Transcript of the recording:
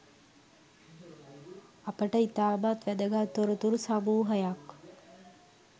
අපට ඉතාමත් වැදගත්‍ තොරතුරු සමූහයක්